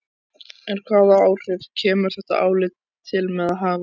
En hvaða áhrif kemur þetta álit til með að hafa?